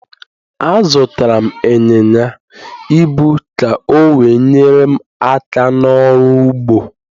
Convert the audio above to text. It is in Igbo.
Azụtara m ịnyịnya ibu ka o we nyere m aka n'ọrụ ugbo